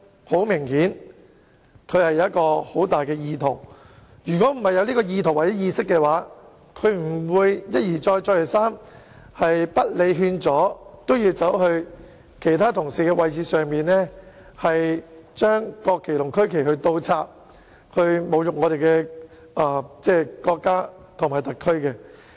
很明顯，他當時有強烈意圖，如果沒有意圖或意識的話，他便不會一而再、再而三，不理勸阻也要走到其他議員的座位，把國旗和區旗倒插，侮辱我們的國家和特區政府。